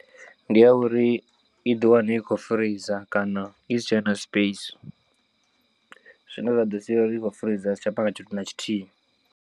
Ndi ya uri i ḓi wane i kho freezor kana i si tshena space zwine zwa ḓo sia uri i khou freezor ya si tsha panga tshithu na tshithihi.